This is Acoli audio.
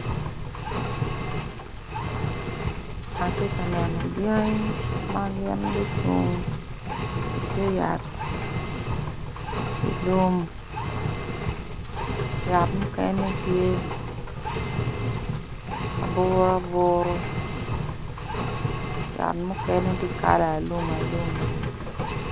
Atye ka neno dyangi ma gin gucung i te yat i lum yat mukene tye aburuaburu yat mukene tye kala alum alum.